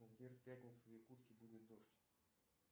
сбер в пятницу в якутске будет дождь